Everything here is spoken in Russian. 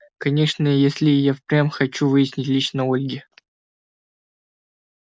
конечно если я и впрямь хочу выяснить лично ольги